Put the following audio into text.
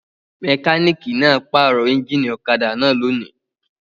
Mẹkáníkì náà pàrọ̀ ẹ́ńjínì ọ̀kadà náà lónìí.